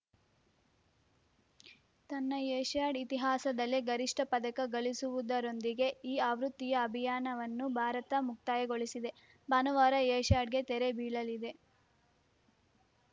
ತನ್ನ ಏಷ್ಯಾಡ್‌ ಇತಿಹಾಸದಲ್ಲೇ ಗರಿಷ್ಠ ಪದಕ ಗಳಿಸುವುದರೊಂದಿಗೆ ಈ ಆವೃತ್ತಿಯ ಅಭಿಯಾನವನ್ನು ಭಾರತ ಮುಕ್ತಾಯಗೊಳಿಸಿದೆ ಭಾನುವಾರ ಏಷ್ಯಾಡ್‌ಗೆ ತೆರೆ ಬೀಳಲಿದೆ